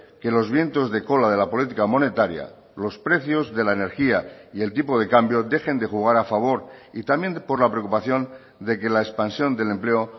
que los vientos de cola de la política monetaria los precios de la energía y el tipo de cambio dejen de jugar a favor y también por la preocupación de que la expansión del empleo